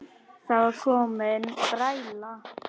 Það var komin bræla.